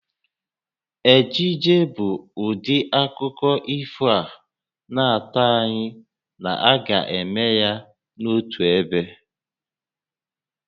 Ejije bụ ụdị akụkọ ifo a na-atụ anya na a ga-eme ya n'otu ebe